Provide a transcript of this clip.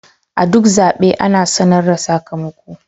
A duk zaɓe ana sanar da sakamako.